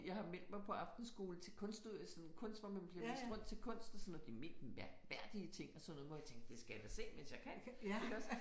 Jeg har meldt mig på aftenskole til kunst sådan kunst hvor man bliver vist rundt til kunst og sådan noget de mest mærkværdige ting og sådan noget hvor jeg tænker det skal jeg da se mens jeg kan iggås